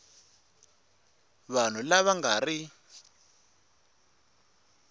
vanhu lava va nga ri